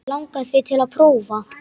Langar þig til að prófa?